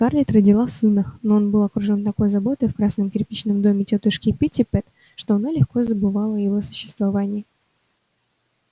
скарлетт родила сына но он был окружён такой заботой в красном кирпичном доме тётушки питтипэт что она легко забывала о его существовании